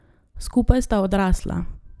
Skupaj sta odrasla.